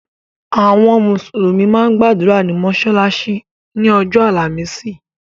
Àwọn mùsùlùmí máa ń gbàdúrà ní mọ́sálásí ni ọjọ́ àlàmísì.